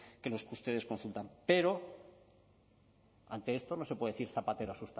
que los que ustedes consultan pero ante esto no se puede decir zapatero a